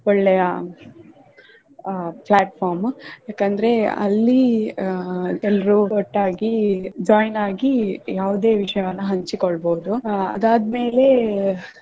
ಒಳ್ಳೆಯ ಅಹ್ platform ಏಕಂದ್ರೆ ಅಲ್ಲಿ ಅಹ್ ಎಲ್ರೂ ಒಟ್ಟಾಗಿ join ಆಗಿ ಯಾವುದೇ ವಿಷಯವನ್ನು ಹಂಚಿಕೊಳ್ಳಬಹುದು ಅಹ್ ಅದಾದ್ಮೇಲೆ.